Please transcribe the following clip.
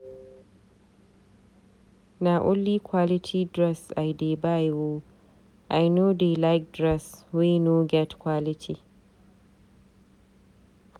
Na only quality dress I dey buy o, I no dey like dress wey no get quality.